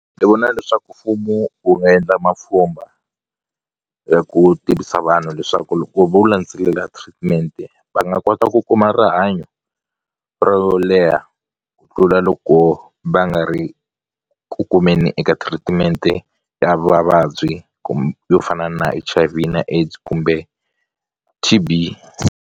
Ni vona leswaku mfumo wu nga endla mapfhumba ya ku tivisa vanhu leswaku loko vo landzelela treatment-e va nga kota ku kuma rihanyo ro leha ku tlula loko va nga ri ku kumeni eka treatment-e ya vavabyi yo fana na H_I_V na AIDS kumbe T_B.